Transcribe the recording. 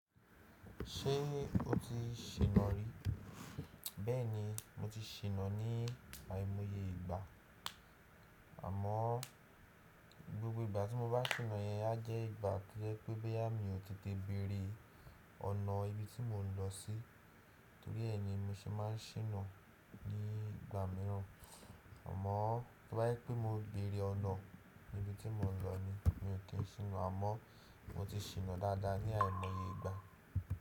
Ṣé o ti ṣìnà rí? Bẹ́ẹ̀ni mo ti ṣìnà ní àìmọye ìgbà, àmọ́ gbogbo ìgbà tí mo bá ṣìnà yẹn, á jẹ́ ìgbà to jẹ́ pé bóyá mi ò tètè béèrè ọ̀nà ibi tí mò ń lọ sí torí ẹ ni mo ṣe máa ń ṣìnà ní ìgbà mìíràn. Àmọ́ tó bá jẹ pé mo béèrè ọ̀nà níbi tí mò ń lọ ni mi ò ki n ṣìnà, àmọ́ mo ti ṣìnà dáadáa ní àìmọye ìgbà.